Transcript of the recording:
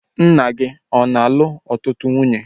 Nna gị ọ na-alụ ọtụtụ nwunye?